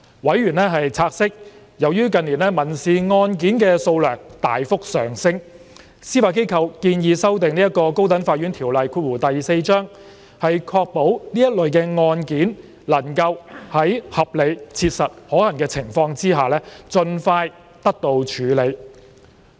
委員察悉，由於近年民事案件數量大幅上升，司法機構建議修訂《高等法院條例》，確保這類案件能夠在合理切實可行的情況下盡快得到處理。